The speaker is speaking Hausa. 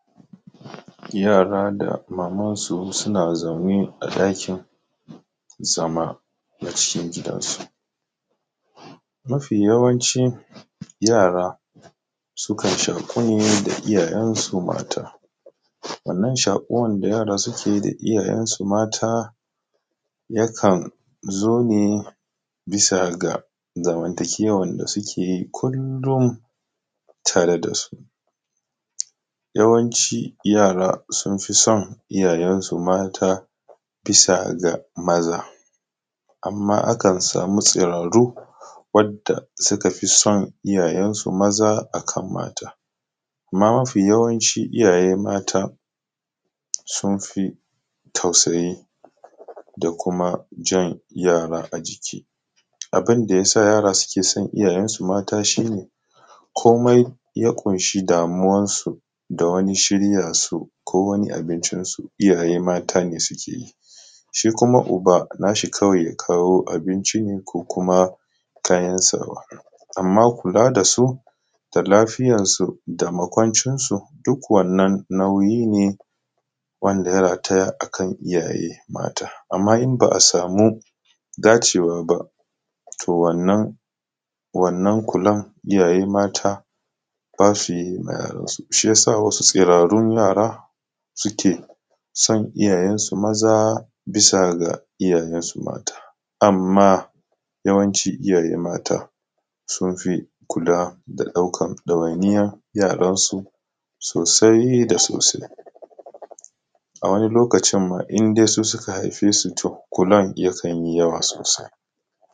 Yara da mamansu suna zaune a ɗakin zama na cikin gidansu, mafiyawanci yara sukan shaku ne da iyayen su mata wannan shakuwa da yara suke yi da iyayensu mata yakan zo ne bisa ga zamantakewar da suke yi kullum tare da su, yawanci yara sun fi son iyayensu mata bisa ga maza amma akan samu tsirarru wadda suka fi son iyayensu maza akan mata. Amma mafi yawanci iyaye mata sun fi tausayi da kuma jan yara ajiki, abun da ya sa yara suke san iyayensu mata shi ne komai ya ƙunshi damuwansu da wani shirya su ko wani abincinsu iyaye mata ne suke yi, shi kuma uba nashi kawai ya kawo abinci ne ko kuma kayan sawa, amma kula da su da lafiyarsu da makwancinsu duk wannan nauyi ne wanda ya rataya akan iyaye mata, amma in ba a samu dacewa ba to wannan kulan iyaye mata za su yi ma yaransu shi ya sa wasu tsirarru yara suke san iyayensu maza bisa ga iyayensu mata. Amma yawanci iyaye mata sun fi kula da ɗaukan ɗawainiya yaransu sosai da sosai, a wani lokacin ma indai su suka haife su to kulan yakan yi yawa sosai.